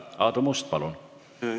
Aadu Must, palun!